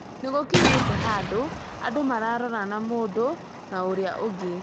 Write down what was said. Nĩ gũkinyĩte handũ andũ mararorana mũndũ na ũrĩa ũngĩ